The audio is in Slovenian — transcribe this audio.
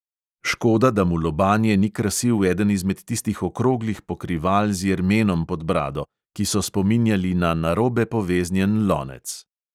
Škoda, da mu lobanje ni krasil eden izmed tistih okroglih pokrival z jermenom pod brado, ki so spominjali na narobe poveznjen lonec.